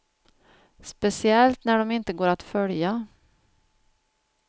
Speciellt när de inte går att följa.